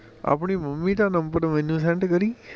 ਆਪਣੀ ਮੰਮੀ ਦਾ ਨੰਬਰ ਮੈਨੂੰ send ਕਰੀ